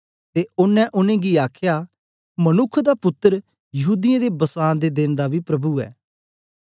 ते ओनें उनेंगी आखया मनुक्ख दा पुत्तर यहूदीयें दे बसां दे देन दा बी प्रभु ऐ